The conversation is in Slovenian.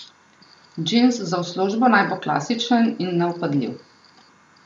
Džins za v službo naj bo klasičen in nevpadljiv.